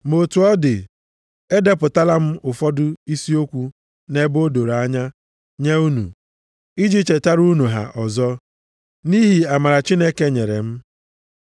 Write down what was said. Ma otu ọ dị, edepụtala m ụfọdụ isi okwu nʼebe o doro anya nye unu, iji chetara unu ha ọzọ, nʼihi amara Chineke nyere m,